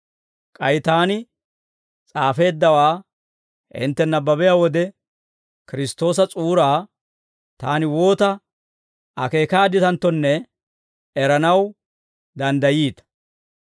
K'ay taani s'aafeeddawaa hintte nabbabiyaa wode, Kiristtoosa s'uuraa taani woota akeekaadditanttonne eranaw danddayiita.